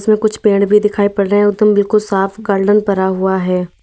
और कुछ पेड़ भी दिखाई पड़ रहे और तुम बिल्कुल साफ गार्डन पड़ा हुआ है।